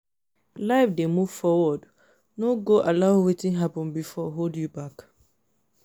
life dey move forward no go allow wetin hapun bifor hold you back